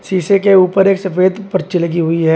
शीशे के ऊपर एक सफेद पर्ची लगी हुई है।